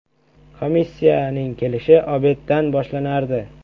“Komissiya”ning kelishi “obed”dan boshlanardi.